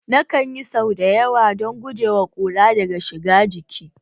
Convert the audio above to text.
Nakan yi sau da yawa don guje wa kura daga shiga ciki